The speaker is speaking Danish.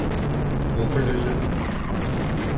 Ugerløse